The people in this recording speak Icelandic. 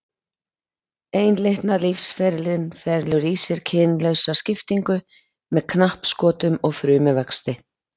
Einlitna lífsferillinn felur í sér kynlausa skiptingu með knappskotum og frumuvexti.